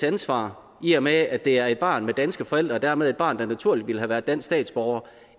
ansvar i og med at det er et barn med danske forældre og dermed et barn der naturligt ville have været dansk statsborger